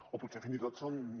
o potser fins i tot són